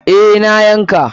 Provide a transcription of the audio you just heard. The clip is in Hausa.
Eh, na yanka.